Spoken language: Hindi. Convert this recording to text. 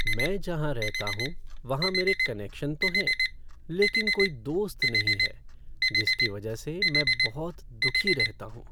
मैं जहाँ रहता हूँ वहाँ मेरे कनेक्शन तो हैं लेकिन कोई दोस्त नहीं है जिसकी वजह से मैं बहुत दुखी रहता हूँ।